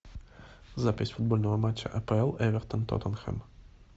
запись футбольного матча апл эвертон тоттенхэм